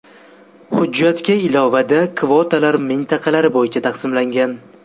Hujjatga ilovada kvotalar mintaqalar bo‘yicha taqsimlangan.